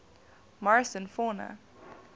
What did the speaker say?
morrison fauna